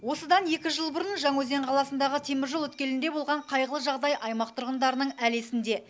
осыдан екі жыл бұрын жаңаөзен қаласындағы теміржол өткелінде болған қайғылы жағдай аймақ тұрғындарының әлі есінде